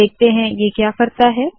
देखते है ये क्या करता है